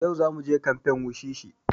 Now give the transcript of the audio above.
Yau za muje kamfen wushishi